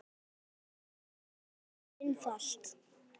En er málið svo einfalt?